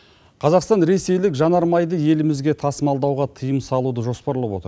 қазақстан ресейлік жанармайды елімізге тасымалдауға тыйым салуды жоспарлап отыр